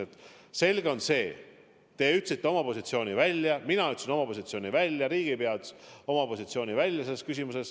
Aga selge, teie ütlesite oma positsiooni välja, mina ütlesin selles küsimuses oma positsiooni välja.